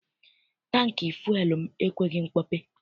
Tankị fụel m ekweghị mkpọpe.